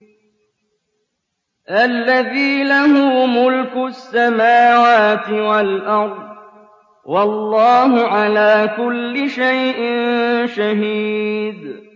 الَّذِي لَهُ مُلْكُ السَّمَاوَاتِ وَالْأَرْضِ ۚ وَاللَّهُ عَلَىٰ كُلِّ شَيْءٍ شَهِيدٌ